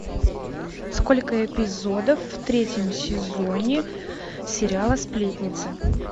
сколько эпизодов в третьем сезоне сериала сплетницы